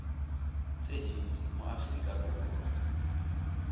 tse dintsi mo aforika borwa